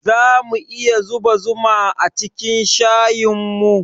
Zamu iya zuba zuma acikin shayinmu?